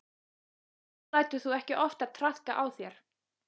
Nú lætur þú ekki oftar traðka á þér.